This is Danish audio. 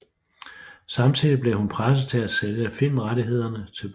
Samtidig blev hun presset for at sælge filmrettighederne til bogen